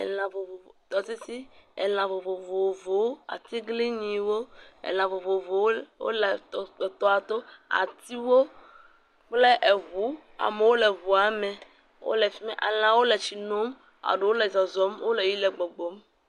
Lã vovovo, tɔsisi, lã vovovowo; atiglinyiwo, lã vovovowo wole tɔa to. Atiwo kple ŋu, amewo le ŋua me wole fi ma, lãwo le tsi nom, ɖewo le zɔzɔm. Wole yiyim le gbɔgbɔm.